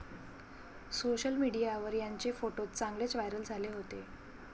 Social मीडियावर यांचे photos चांगलेच व्हायरल झाले होते.